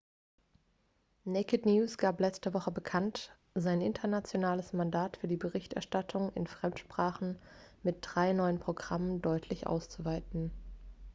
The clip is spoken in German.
naked news gab letzte woche bekannt sein internationales mandat für die berichterstattung in fremdsprachen mit drei neuen programmen deutlich auszuweiten